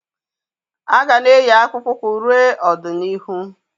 A ga-ana eyi akpụkpọ ụkwụ ruo ọdịnihu.